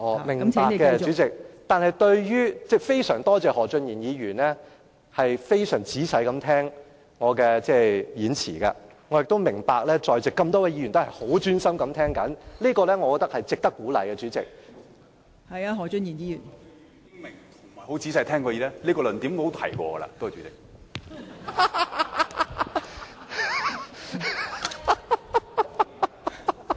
明白的，代理主席，我非常多謝何俊賢議員非常仔細聆聽我的發言，我也明白在席多位議員也十分專心地聆聽，代理主席，我認為這是值得鼓勵的......